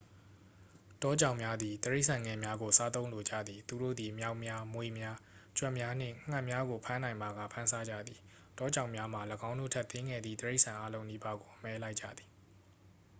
တောကြောင်များသည် တိရစ္ဆာန်ငယ်များကို စားသုံးလိုကြသည် သူတို့သည် မျောက်များ မြွေများ ကြွက်များနှင့် ငှက်များကို ဖမ်းနိုင်ပါက ဖမ်းစားကြသည် တောကြောင်များမှာ ၎င်းတို့ထက် သေးငယ်သည့် တိရစ္ဆာန်အားလုံးနီးပါးကို အမဲလိုက်ကြသည်